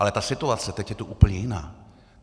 Ale ta situace je tu teď úplně jiná.